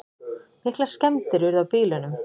Miklar skemmdir urðu á bílunum.